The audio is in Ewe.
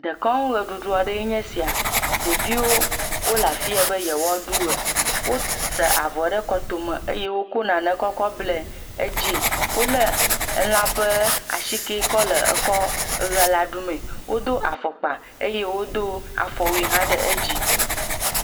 Dekɔnu ʋeɖuɖu aɖe nye esia. Ɖeviwo le afi ya be yewoa ɖu ʋe. wosa avɔ ɖe kɔtome eye nane kɔkɔ ble edzie. Wole elã ƒe asike kɔ lɖ ekɔ ƒe la ɖumee. Wodo afɔkpa eye wodo afɔwui hã ɖe edzi.